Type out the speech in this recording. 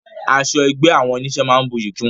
Aṣọ ẹgbẹ́ àwọn onísé máa ń buyí kún wọn